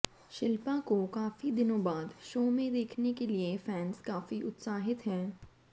शिल्पा को काफी दिनों बाद शो में देखने के लिए फैंस काफी उत्साहति हैं